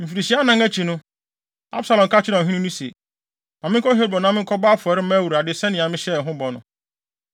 Mfirihyia anan akyi no, Absalom ka kyerɛɛ ɔhene no se, “Ma menkɔ Hebron na menkɔbɔ afɔre mma Awurade sɛnea mahyɛ no bɔ no.